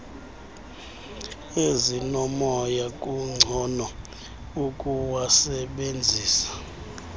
ezinomoya kungcono ukuwasebenzisa